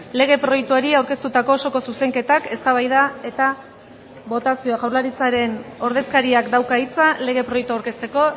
lege proiektuari aurkeztutako osoko zuzenketak eztabaida eta botazioa jaurlaritzaren ordezkariak dauka hitza lege proiektua aurkezteko